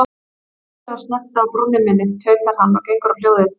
Hver er að snökta á brúnni minni, tautar hann og gengur á hljóðið.